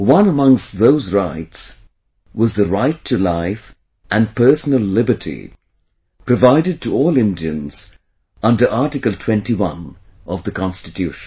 One amongst those rights was the 'Right to Life and Personal Liberty' provided to all Indians under Article 21 of the Constitution